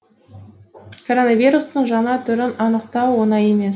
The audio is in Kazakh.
коронавирустың жаңа түрін анықтау оңай емес